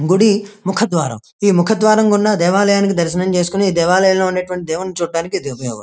గుడి ముకద్వరమ్ ఈ ముకద్వరమ్ కి ఉన్న దేవలయాని దర్శనం చేసుకొని దేవాలయం ఉన్న దేవుణ్ణి చూడానికి ఇది ఉపయోగపడుతుంది.